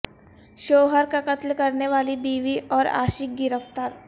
شوہر کا قتل کرنے والی بیوی اور عاشق گرفتار